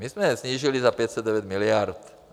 My jsme je snížili za 509 miliard.